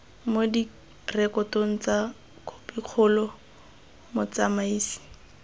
mo direkotong tsa khopikgolo motsamaisi